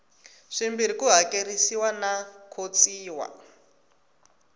swimbirhi ku hakerisiwa no khotsiwa